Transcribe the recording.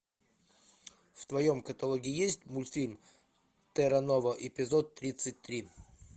в твоем каталоге есть мультфильм терра нова эпизод тридцать три